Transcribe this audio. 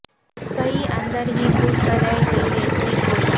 کہیں اندر ہی گھٹ کر رہ گئی ہے چیخ کوئی